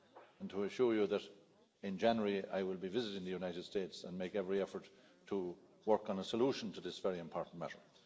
and to assure you that in January I will be visiting the United States, and make every effort to work on a solution to this very important matter.